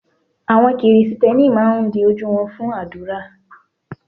Àwọn Kristẹni máa ń di ojú wọn fún àdúrà.